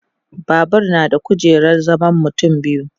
Babur na da kujerar zaman mutum biyu